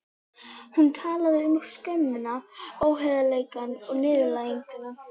Hún talaði um skömmina, óheiðarleikann og niðurlæginguna.